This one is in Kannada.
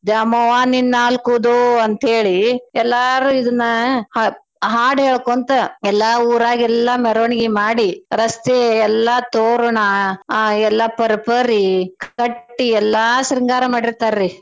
ದ್ಯಾಮವ್ವ ನಿನ್ ನಾಲ್ಕ ಉದೋ ಅಂತೇಳಿ ಎಲ್ಲಾರೂ ಇದನ್ನ ಹ~ ಹಾಡ್ ಹೇಳಕೋಂತ್ ಎಲ್ಲಾ ಊರಾಗ ಎಲ್ಲಾ ಮೆರ್ವಣ್ಗಿ ಮಾಡಿ ರಸ್ತೆ ಎಲ್ಲಾ ತೋರ್ಣ ಆ ಎಲ್ಲಾ ಪರ್ಪರಿ ಕಟ್ಟೀ ಎಲ್ಲಾ ಶೃಂಗಾರ ಮಾಡಿರ್ತಾರೀ.